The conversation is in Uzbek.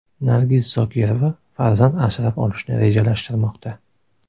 Nargiz Zokirova farzand asrab olishni rejalashtirmoqda.